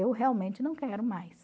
Eu realmente não quero mais.